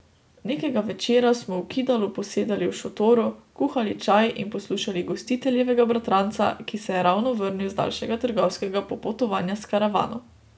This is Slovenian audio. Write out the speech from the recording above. Nekega večera smo v Kidalu posedali v šotoru, kuhali čaj in poslušali gostiteljevega bratranca, ki se je ravno vrnil z daljšega trgovskega popotovanja s karavano.